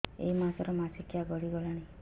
ଏଇ ମାସ ର ମାସିକିଆ ଗଡି ଗଲାଣି